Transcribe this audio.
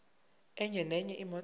enye nenye imoto